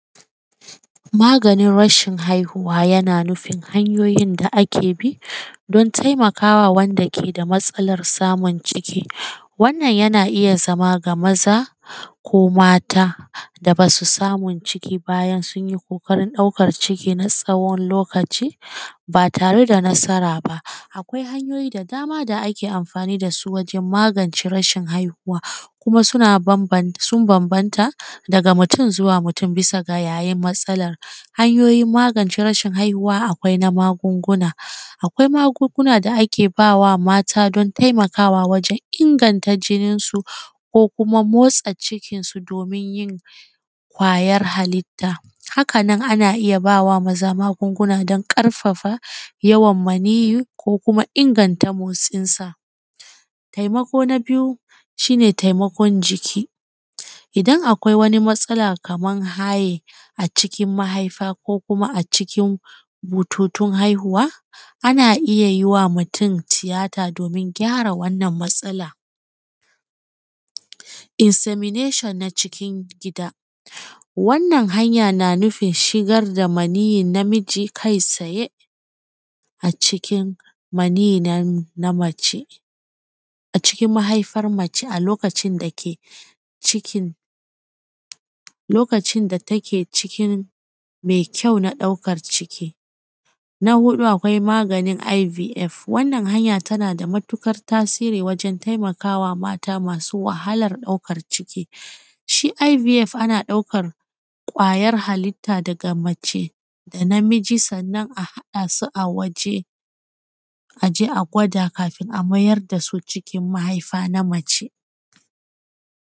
Yadda ake magance damuwan zuciya, damuwan zuciya tana shafan mutane daban-daban a rayuwa, amma akwai hanyoyi da za abi don shawo kanta ga wasu matakai masu anfani. Na farko ka fahimci matsalanka, ka gano abunda ke haddasa maka damuwa da lokacin da take faruwa, misali in damuwanka tana zuwa ya yi kwaji ko lokacin aiki me tunani ka rubuta hakan domin gano yadda za ka magance ta. Na biyu ka yi addu’a da tawakkali, addu’a tana taimakwa wajen sauƙaƙa zuciya da kwantar da hankali ka miƙa da muwanka ga Allah, misali ka karanta ayoyi da addu’oi da ke kwantar da zuciya kamar suratul isra’i, suratul inshira, ka yi nunfashi da kyau, alal misali ka yi nunfashi me ƙarfi ka donga yawan nunfashi me ƙarfi misali a ce sau uku in dai kana jin yanayin nan.